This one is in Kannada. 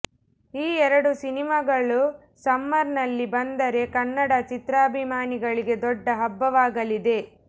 ಈ ಎರಡು ಸಿನಿಮಾಗಳು ಸಮ್ಮರ್ ನಲ್ಲಿ ಬಂದರೆ ಕನ್ನಡ ಚಿತ್ರಾಭಿಮಾನಿಗಳಿಗೆ ದೊಡ್ಡ ಹಬ್ಬವಾಗಲಿದೆ